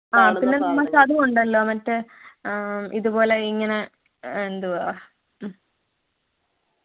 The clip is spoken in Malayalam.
അതിനു അതും ഉണ്ടല്ലോ മറ്റേ ആഹ് ഇതുപോലെ ഇങ്ങനെ എന്തുവാ